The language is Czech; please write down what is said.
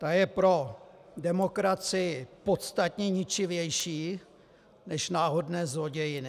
Ta je pro demokracii podstatně ničivější než náhodné zlodějiny.